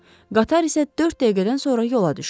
Qatar isə dörd dəqiqədən sonra yola düşür.